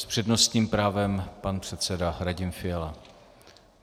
S přednostním právem pan předseda Radim Fiala.